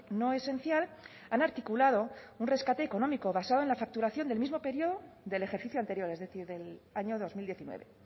no esencial han articulado un rescate económico basado en la facturación del mismo periodo del ejercicio anterior es decir del año dos mil diecinueve